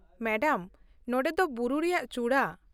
Madam, ᱱᱚᱸᱰᱮ ᱫᱚ ᱵᱩᱨᱩ ᱨᱮᱭᱟᱜ ᱪᱩᱲᱟᱹ ᱾